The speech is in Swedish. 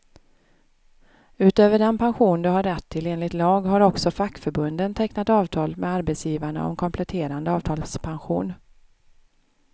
Utöver den pension du har rätt till enligt lag, har också fackförbunden tecknat avtal med arbetsgivarna om kompletterande avtalspension.